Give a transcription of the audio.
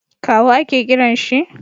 kawu a ke kiran shi?